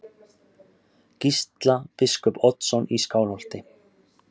Gísla biskup Oddsson í Skálholti.